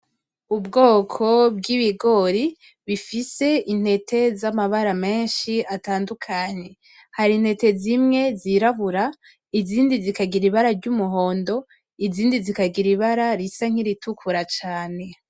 Ubwoko bwi bigori bifise intete za mabara meshi atandukanye hari intete zimwe zi rabura izindi zikagira ibara ry'umuhondo izindi zikagira ibara risa nki ritukura cane.